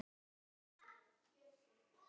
Ingvar og Júlíus syngja.